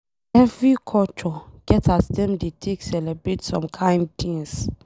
Every culture get as Dem dey take celebrate some kind things.